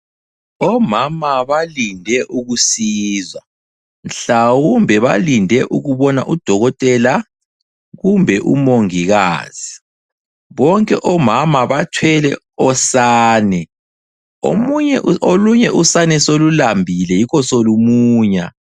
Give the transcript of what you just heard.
Omama balinde ukusizwa, mhlawumbe balinde ukubona udokotela kumbe umongikazi. Bonke omama bathwele osane. Olunye usane solulambile yikho solumunya.